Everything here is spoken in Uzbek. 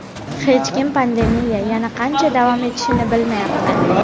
Hech kim pandemiya yana qancha davom etishini bilmayapti.